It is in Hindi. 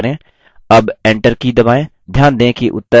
अब enter की दबाएँ